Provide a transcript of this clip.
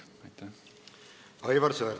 Aivar Sõerd, palun!